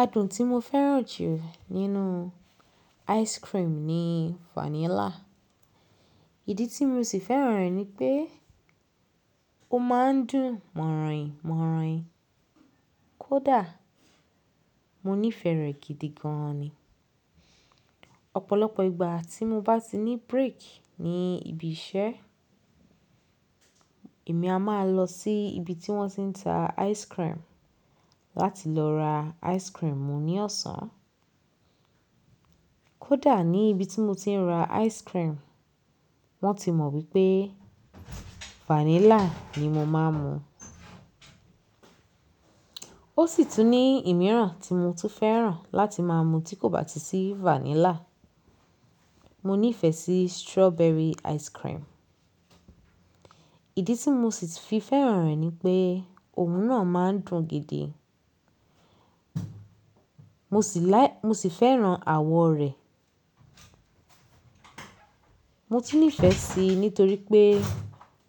Adùn tí mo fẹ́ràn jù nínú ice cream ni vanilla. Ìdí tí mo sì fẹ́ràn rẹ̀ ni pé ó máa ń dùn mọ̀-rìn-mọ̀-rìn. Kódà mo nífẹ̀ẹ́ rẹ̀ gidi gan ni, ọ̀pọ̀lọpọ̀ ìgbà tí mo bá ti ní break ní ibi iṣẹ́, èmi a máa lọ sí ibi tí wọ́n ti ń ta ice cream láti lọ ra ice cream mu ní ọ̀sán. Kódà ní ibi tí mo ti ń ra ice cream, wọ́n ti mọ̀ wípé vanilla ni mo máa ń mu. Ó sì tún ní ìmiran tí mo tún fẹ́ràn láti máa mu tí kò bá ti sí vanilla. Mo nífẹ̀ẹ́ sí strawberry ice cream. Ìdí tí mo sì fi fẹ́ràn rẹ̀ ni pé òun náà máa ń dùn gidi. Mo sì láì, mo sì fẹ́ràn àwọ̀ rẹ̀. Mo ti nífẹ̀ẹ́ sí nítorí pé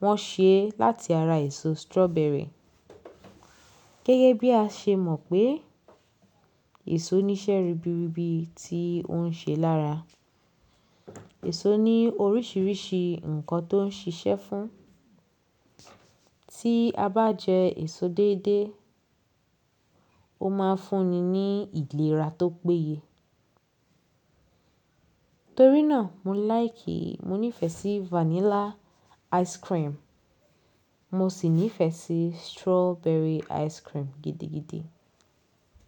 wọ́n ṣe é láti ara èso strawberry. Gẹ́gẹ́ bí a ṣe mọ̀ pé èso ní iṣẹ́ ribiribi tí ó ń ṣe lára. Èso ní oríṣiríṣi nǹkan tó ń ṣiṣẹ́ fún. Tí a bá jẹ èso déédé, ó máa ń fúnni ní ìlera tó péye. Torí náà mo láìkìí, mo nífẹ̀ẹ́ sí vanilla ice cream. Mo sì nífẹ̀ẹ́ sí strawberry ice cream gidi gidi.